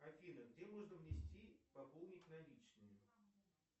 афина где можно внести пополнить наличными